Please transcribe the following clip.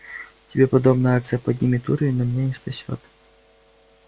тебе подобная акция поднимет уровень но меня не спасёт